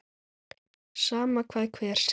Sama hvað hver segir.